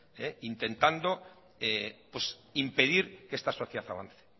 intentando impedir que esta sociedad avance